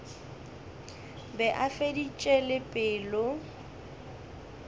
be a feditše le pelo